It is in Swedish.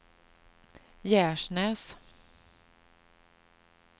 Gärsnäs